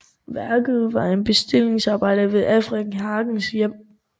Værket var et bestillingsarbejde til Alfred Hages hjem